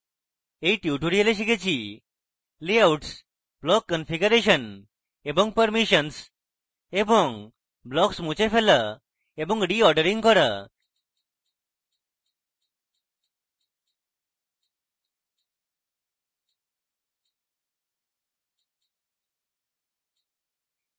in tutorial আমরা শিখেছে layouts block configuration এবং permissions এবং blocks মুছে ফেলা এবং রিঅর্ডারিং করা